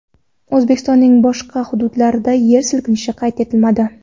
O‘zbekistonning boshqa hududlarida yer silkinishi qayd etilmadi.